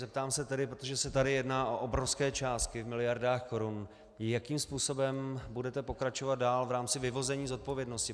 Zeptám se tedy, protože se tady jedná o obrovské částky v miliardách korun, jakým způsobem budete pokračovat dál v rámci vyvození zodpovědnosti.